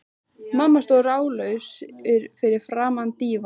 Mamma stóð ráðalaus fyrir framan dívaninn.